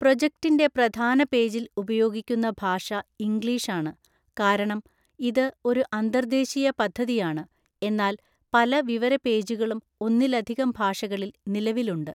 പ്രോജക്റ്റിന്റെ പ്രധാന പേജിൽ ഉപയോഗിക്കുന്ന ഭാഷ ഇംഗ്ലീഷാണ്, കാരണം ഇത് ഒരു അന്തർദേശീയ പദ്ധതിയാണ്, എന്നാൽ പല വിവര പേജുകളും ഒന്നിലധികം ഭാഷകളിൽ നിലവിലുണ്ട്.